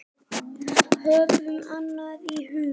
Höfum annað í huga.